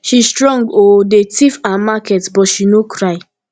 she strong oo dey thief her market but she no cry